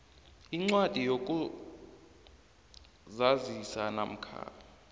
incwadi yokuzazisa namkha